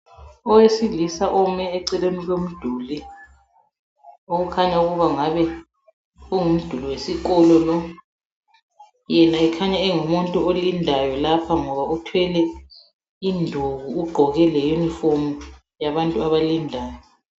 Owesilisa ome eceleni komduli okukhanya ukuba kungabe kungumduli wesikolo. Yena ekhanya engumuntu olindayo lapha ngoba uthwele induku ugqoke leyunifomu yabantu abalindayo.